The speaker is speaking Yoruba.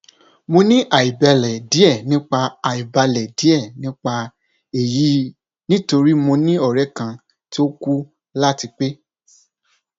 mo ni aibalẹ diẹ nipa aibalẹ diẹ nipa eyi nitori mo ni ọrẹ kan ti o ku lati pe